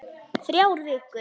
Þrjár vikur.